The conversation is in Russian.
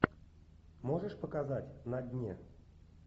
можешь показать на дне